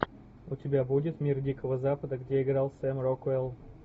у тебя будет мир дикого запада где играл сэм рокуэлл